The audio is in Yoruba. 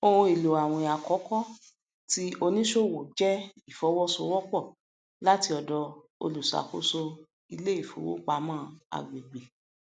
ohun èlò àwìn àkọkọ ti onísòwò jẹ ìfọwọsowọpọ láti ọdọ olùṣàkóso iléifowopamọ àgbègbè